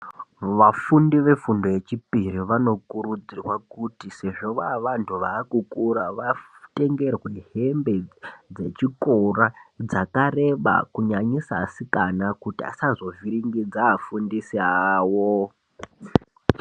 Vafundi vefundo yechipiri vanokurudzirwa kuti sezvo vava vantu vaa kukura, vatengerwe hembe dzechikora dzakareba, kunyanyisa asikana kuti asazovhiringidza afundisi awo.